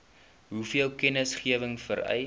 hoeveel kennisgewing vereis